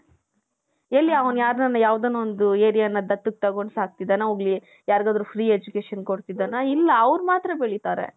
ಎಲ್ಲಿ ಅವನು ಯಾವುದಾನ ಒಂದು areaನ ದತ್ತು ತಗೊಂಡ್ ಸಾಕ್ತಿದ್ದಾನ ಹೋಗ್ಲಿ ಯಾರಿಗಾದರು free education ಕೊಡ್ತಿದ್ದಾನ ? ಇಲ್ಲಾ ಅವರು ಮಾತ್ರ ಬೆಳಿತಾರೆ .